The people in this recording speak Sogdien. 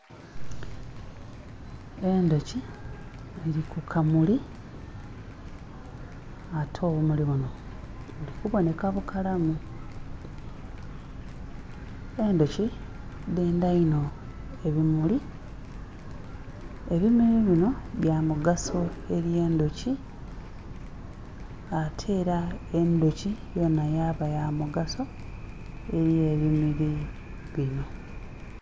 Endhoki dhili ku kamuli ate obumuli bunho buli kubonheka bukalamu, endhoki dendha inho ebimuli, ebimuli binho bya omugaso eri endhoki ate era endhoki yonha yaba ya mugaso eri ebimuli binho.